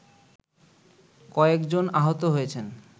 কয়েকজন আহত হয়েছেন